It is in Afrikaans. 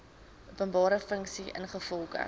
openbare funksie ingevolge